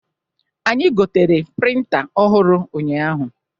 Anyị gotere printa ọhụrụ ụnyaahụ.